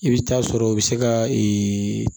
I bɛ taa sɔrɔ u bɛ se ka ee